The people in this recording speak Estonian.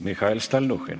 Mihhail Stalnuhhin.